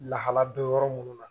Lahala don yɔrɔ minnu na